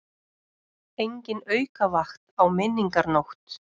Engin aukavakt á Menningarnótt